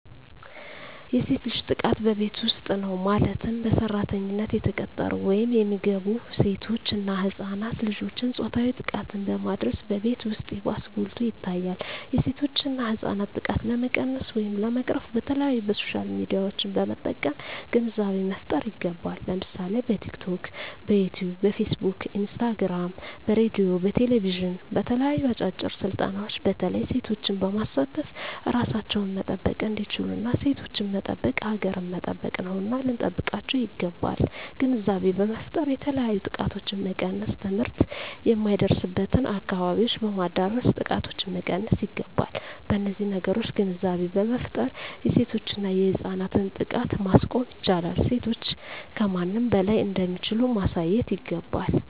የሴት ልጅ ጥቃት በቤት ዉስጥ ነዉ ማለትም በሰራተኛነት የተቀጠሩ ወይም የሚገቡሴቶች እና ህፃናት ልጆችን ፆታዊ ጥቃትን በማድረስ በቤት ዉስጥ ይባስ ጎልቶ ይታያል የሴቶችና የህፃናት ጥቃት ለመቀነስ ወይም ለመቅረፍ በተለያዩ በሶሻል ሚድያዎችን በመጠቀም ግንዛቤ መፍጠር ይገባል ለምሳሌ በቲክቶክ በዮትዮብ በፊስ ቡክ በኢንስታግራም በሬድዮ በቴሌብዥን በተለያዩ አጫጭር ስልጠናዎች በተለይ ሴቶችን በማሳተፍ እራሳቸዉን መጠበቅ እንዲችሉና ሴቶችን መጠበቅ ሀገርን መጠበቅ ነዉና ልንጠብቃቸዉ ይገባል ግንዛቤ በመፍጠር የተለያዮ ጥቃቶችን መቀነስ ትምህርት የማይደርሱበትን አካባቢዎች በማዳረስ ጥቃቶችን መቀነስ ይገባል በነዚህ ነገሮች ግንዛቤ በመፍጠር የሴቶችና የህፃናትን ጥቃት ማስቆም ይቻላል ሴቶች ከማንም በላይ እንደሚችሉ ማሳየት ይገባል